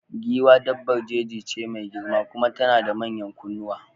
Giwa dabbar jeji ce mai girma kuma tana da manyan kunnuwa